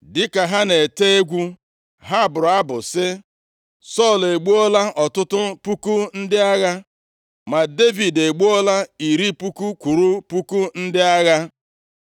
Dịka ha na-ete egwu, ha bụrụ abụ sị, “Sọl egbuola ọtụtụ puku ndị agha ma Devid egbuola iri puku kwụrụ puku ndị agha.”